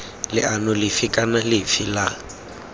leano lefe kana lefe la